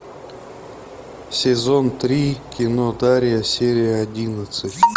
сезон три кино дарья серия одиннадцать